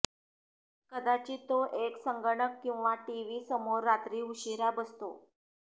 कदाचित तो एक संगणक किंवा टीव्ही समोर रात्री उशिरा बसतो